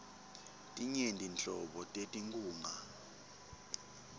tinyenti nhlobo tetinkhunga